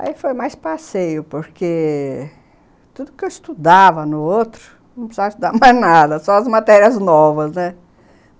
Aí foi mais passeio, porque tudo que eu estudava no outro, não precisava estudar mais nada, só as matérias novas.